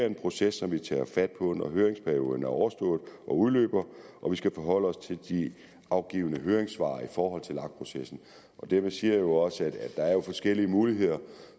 en proces som vi tager fat på når høringsperioden er overstået og og vi skal forholde os til de afgivne høringssvar i forhold til lag processen og dermed siger jeg jo også at der er forskellige muligheder